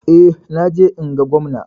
Eh, na je in ga Gwamna.